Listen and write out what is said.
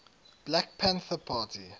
black panther party